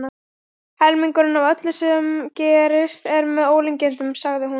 Helmingurinn af öllu sem gerist er með ólíkindum, sagði hún.